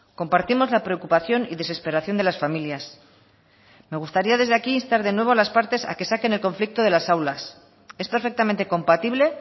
compartimos la preocupación y desesperación de las familias me gustaría desde aquí instar de nuevo a las partes a que saquen el conflicto de las aulas es perfectamente compatible